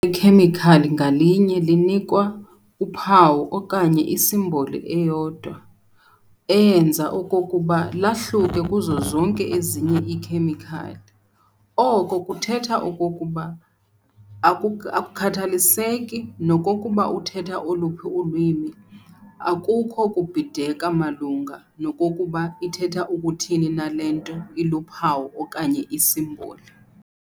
khemikhali ngalinye linikwa" uphawu okanye isimboli eyodwa" eyenza okokuba lahluke kuzo zonke ezinye iikhemikhali. Oko kuthetha okokuba, akukhathaliseki nokokuba uthetha oluphi ulwimi, akukho kubhideka malunga nokokuba ithetha ukuthini na le nto iluphawu okanye isimboli.